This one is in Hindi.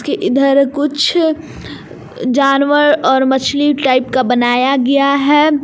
इधर कुछ जानवर और मछली टाइप का बनाया गया है।